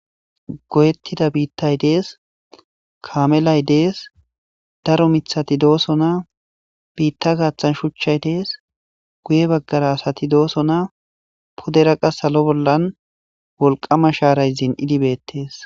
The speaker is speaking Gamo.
Goyetida bitay des kamelay dees daro mithati dosona bita gatan shuchay des guye bagara asati dosona pudera qa salo bolan wolqama sharay zin'idi betes.